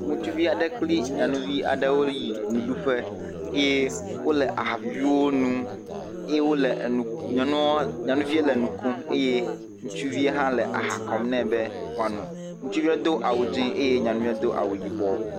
Ŋutsuvia ɖe kple nyɔnuvi aɖe o yi nuɖuƒfe, eye ole aha viviwo nom, eye ole nyɔnuvie le nu kom eye ŋutsuvie ha le aha kɔm ne be woa no, ŋutsuvie do awu dzié eye nyɔnuvie do awu yibɔ.